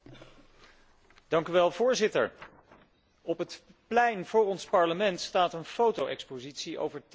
Voorzitter, op het plein voor ons Parlement staat een foto expositie over teerzanden in Canada.